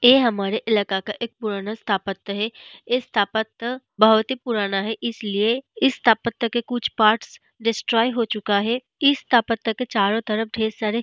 ऐ हमारे इलाका का एक पुराना स्तापत्य है इस स्तापत्य बहुत ही पुराना है इसलिए इस स्तापत्य के कुछ पार्ट्स डिस्ट्रॉय हो चूका है इस स्तापत्य के चारों तरफ ढ़ेर सारे --